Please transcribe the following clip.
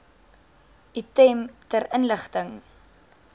item ter inligting